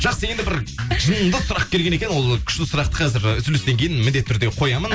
жақсы енді бір жынды сұрақ келген екен ол күшті сұрақты қазір ы үзілістен кейін міндетті түрде қоямын